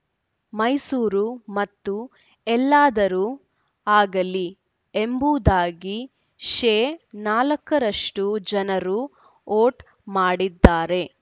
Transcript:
ಮೈಸೂರು ಮತ್ತು ಎಲ್ಲಾದರೂ ಆಗಲಿ ಎಂಬುದಾಗಿ ಶೇ ನಾಲಕ್ಕರಷ್ಟು ಜನರು ವೋಟ್‌ ಮಾಡಿದ್ದಾರೆ